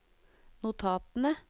notatene